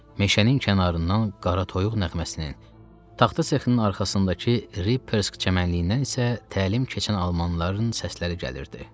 meşənin kənarından qara toyuq nəğməsinin, taxta sexinin arxasındakı Rippersk çəmənliyindən isə təlim keçən almanların səsləri gəlirdi.